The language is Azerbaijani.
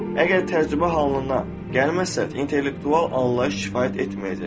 Əgər təcrübə halına gəlməzsə, intellektual anlayış kifayət etməyəcək.